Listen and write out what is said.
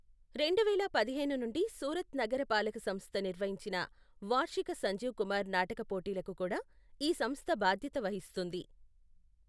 రెండువేల పదిహేను నుండి, సూరత్ నగర పాలక సంస్థ నిర్వహించిన వార్షిక సంజీవ్ కుమార్ నాటక పోటీలకు కూడా ఈ సంస్థ భాద్యత వహిస్తుంది.